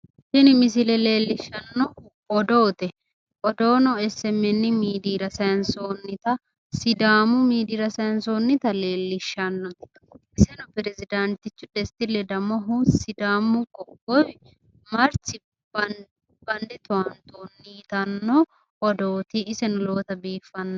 tini misile leellishshannohu odoote odoono SMN miidiyira sayiinsoonita sidaamu miidiyira saayiinsoonnita leellishshnnote iseno piresdaantichu desta ledamohu sidaamu qoqqowi marchbande towaantoonni yitanno odooti iseno lowota biiffanno.